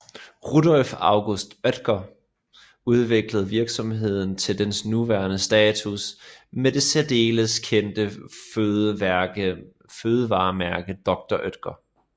Rudolf August Oetker udviklede virksomheden til dens nuværende status med det særdeles kendt fødevaremærke Dr